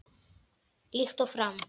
Líkt og fram